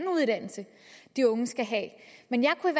uddannelse de unge skal have men jeg kunne